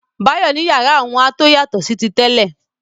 Báyọ̀ ní yàrá òun a tó yàtọ̀ sí ti tẹ́lẹ̀.